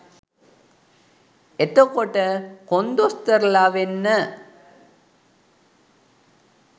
එතකොට කොන්දොස්තරලා වෙන්න